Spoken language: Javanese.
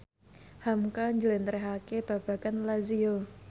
hamka njlentrehake babagan Lazio